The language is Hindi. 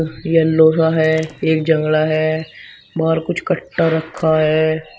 यह लोहा है एक जंगला है बाहर कुछ कट्टा रखा है।